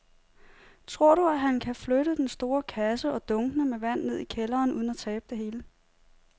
Tror du, at han kan flytte den store kasse og dunkene med vand ned i kælderen uden at tabe det hele?